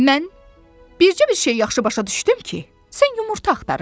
Mən bircə bir şeyi yaxşı başa düşdüm ki, sən yumurta axtarırsan.